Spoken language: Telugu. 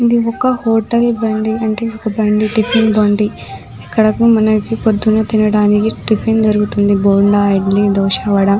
ఇది ఒక్క హోటల్ బండిఅంటే ఒక్క బండి టిఫిన్ బండి ఇక్కడకు మనకు పొద్దున తినడానికి టిఫిన్ దొరుకుతుందిబొండా ఇడ్లీ దోశ వడ